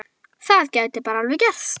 Það gæti bara alveg gerst!